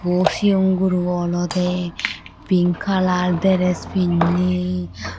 Ikko Sion guro olode pink kalar dress pinne.